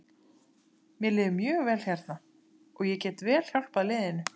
Mér líður mjög vel hérna og ég get vel hjálpað liðinu.